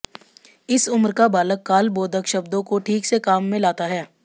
इस उम्र का बालक कालबोधक शब्दों को ठीक से काम में लाता है